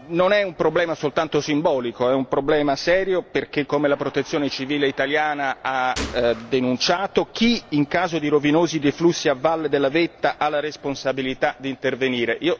Non è un problema soltanto simbolico, è un problema serio perché come la Protezione civile italiana ha denunciato chi, in caso di rovinosi deflussi a valle della vetta ha la responsabilità di intervenire?